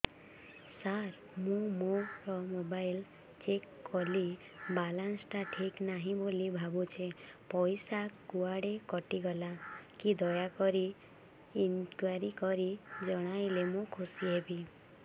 ସାର ମୁଁ ମୋର mobile check କଲି ବାଲାନ୍ସ ଟା ଠିକ ନାହିଁ ବୋଲି ଭାବୁଛି ପଇସା କୁଆଡେ କଟି ଗଲା କି ଦୟାକରି ଇନକ୍ୱାରି କରି ଜଣାଇଲେ ମୁଁ ଖୁସି ହେବି